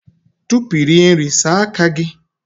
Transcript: Tupu ị rie nri, saa aka gị!